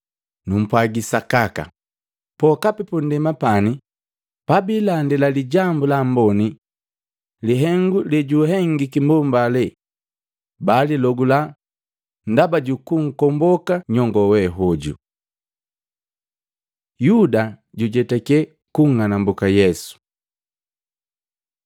Numpwagi sakaka, pokapi pundema pani pabiilandila Lijambu la Amboni lihengu lejuhengiki mbomba hale baalilogula ndaba juku nkomboka nyongo we hoju.” Yuda jujetakye kunng'anambuka Yesu Matei 26:14-16; Luka 22:3-6